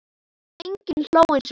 Enginn hló eins og þú.